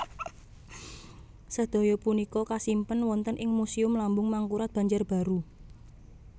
Sadaya punika kasimpen wonten ing Museum Lambung Mangkurat Banjarbaru